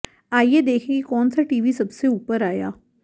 आइए देखें कि कौन सा टीवी सबसे ऊपर आया